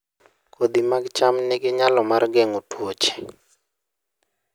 Kodhi mag cham nigi nyalo mar geng'o tuoche